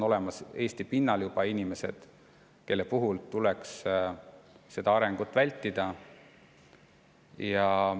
Eesti pinnal on juba olemas inimesed, kelle puhul tuleks seda arengut vältida.